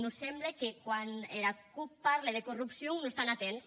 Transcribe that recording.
mos semble que quan era cup parle de corrupcion non son atents